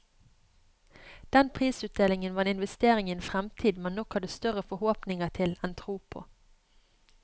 Den prisutdelingen var en investering i en fremtid man nok hadde større forhåpninger til enn tro på.